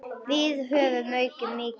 Við höfum aukið hann mikið.